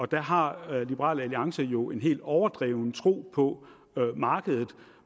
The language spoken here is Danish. der har liberal alliance jo en helt overdreven tro på markedet